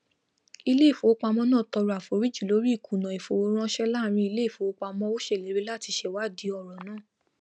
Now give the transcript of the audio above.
iléìfowópamọ náà tọrọ àforíjì lorí ìkùnà ìfowóránsẹ láàrín iléìfowópamọ o sèlérí latí sewádí ọrọ náà